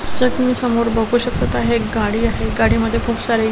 जस कि समोर बघू शकत आहे गाडी आहे गाडी मध्ये खूप सारे --